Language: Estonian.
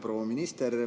Proua minister!